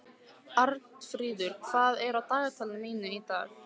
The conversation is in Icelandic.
Arnfríður, hvað er á dagatalinu mínu í dag?